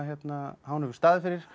hefur staðið fyrir